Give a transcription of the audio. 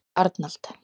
Arnald